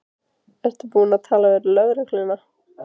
Ertu búin að tala við lögregluna?